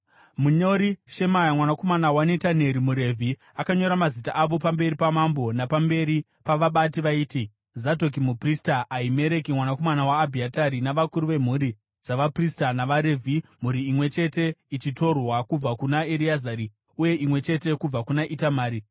Munyori Shemaya mwanakomana waNetaneri, muRevhi, akanyora mazita avo pamberi pamambo, napamberi pavabati vaiti: Zadhoki muprista, Ahimereki mwanakomana waAbhiatari navakuru vemhuri dzavaprista navaRevhi mhuri imwe chete ichitorwa kubva kuna Ereazari uye imwe chete kubva kuna Itamari.